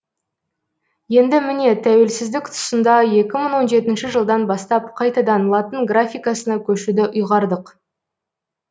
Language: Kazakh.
енді міне тәуелсіздік тұсында жылдан бастап қайтадан латын графикасына көшуді ұйғардық